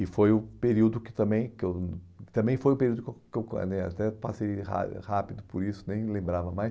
E foi o período que também, que eu... Também foi o período que eu né... Até passei rá rápido por isso, nem lembrava mais.